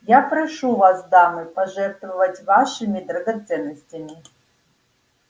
я прошу вас дамы пожертвовать вашими драгоценностями